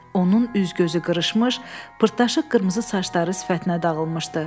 Onun üz-gözü qırışmış, pırtlaşıq qırmızı saçları sifətinə dağılmışdı.